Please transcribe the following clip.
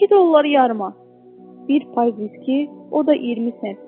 İki dollar yarıma, bir pay viski, o da 20 sent.